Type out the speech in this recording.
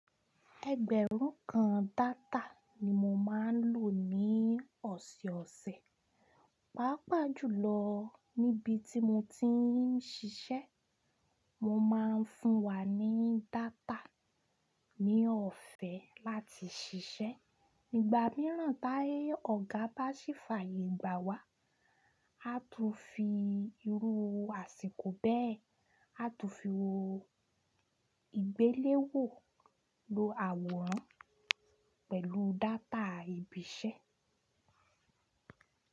Ẹgbẹ̀rún kan data ni mo máa ń lò ní ọ̀sọ̀ọ̀sẹ̀, pàápàá jùlọ níbi tí mo ti ń ṣiṣẹ́. Won máa ń fún wa ní data ní ọ̀fẹ́ láti ṣiṣẹ́. Nígbà mìíràn tí ọ̀gá bá ṣe fààyè gbà wá, a tún fi irú àsìkò bẹ́ẹ̀, a tún fi wó ìgbéléwò lo àwòrán pẹ̀lú data ibi iṣẹ́.